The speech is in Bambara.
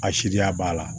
A siriya b'a la